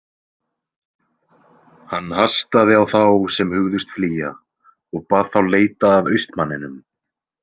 Hann hastaði á þá sem hugðust flýja og bað þá leita að austmanninum.